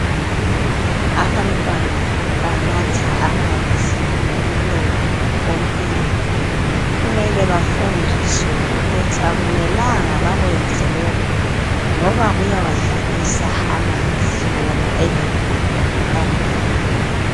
Abantwana banatha amanzi ngomlomo empompini kumele bafundiswe ukuthi akumelanga bakwenze lokhu ngoba kuyawadlalisa amanzi wona eligugu kangaka.